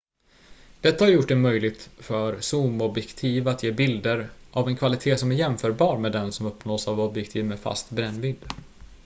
detta har gjort det möjligt för zoomobjektiv att ge bilder av en kvalitet som är jämförbar med den som uppnås av objektiv med fast brännvidd